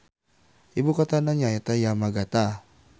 Ibukotana nyaeta Yamagata.